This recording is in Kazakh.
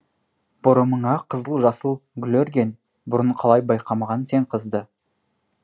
бұрымыңа қызыл жасыл гүл өрген бұрын қалай байқамағам сен қызды